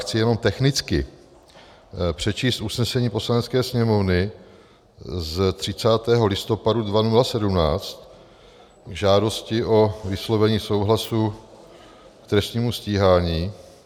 Chci jenom technicky přečíst usnesení Poslanecké sněmovny z 30. listopadu 2017 k žádosti o vyslovení souhlasu k trestnímu stíhání: